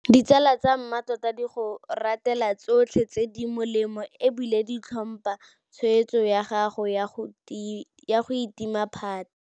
Ditsala tsa mmatota di go ratela tsotlhe tse di molemo e bile di tlhompha tshwetso ya gago ya go itima phate.